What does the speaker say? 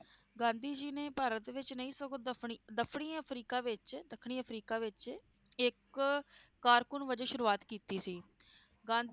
ਗਾਂਧੀ ਜੀ ਨੇ ਭਾਰਤ ਵਿਚ ਨਹੀਂ ਸਗੋਂ ਦਫਨੀ ~ਦਫਨੀ ਅਫ੍ਰੀਕਾ ਵਿਚ ਦੱਖਣੀ ਅਫ੍ਰੀਕਾ ਵਿਚ ਇਕ ਕਾਰਕੂਨ ਵਜੇ ਸ਼ੁਰੂਆਤ ਕੀਤੀ ਸੀ ਗਾਂਧੀ